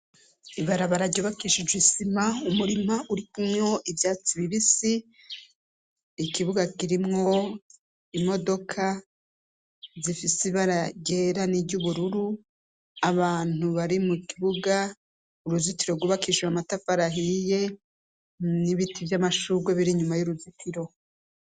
Ibarabararyubakishije isima umurima urikumyo ivyatsi bibisi ikibuga kirimwo imodoka zifise ibaragera n'iryo ubururu abantu bari mu kibuga uruzitiro rwubakishiwe amatafarahiye n'ibiti vy'amashurwe birimwa nyuma y'uruzitiro.